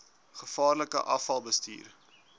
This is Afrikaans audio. gevaarlike afval bestuur